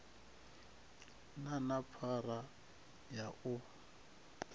na na phara ya u